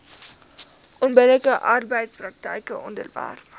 onbillike arbeidspraktyke onderwerp